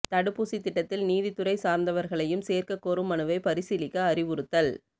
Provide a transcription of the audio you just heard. தடுப்பூசித் திட்டத்தில் நீதித் துறை சாா்ந்தவா்களையும் சோ்க்கக் கோரும் மனுவை பரிசீலிக்க அறிவுறுத்தல்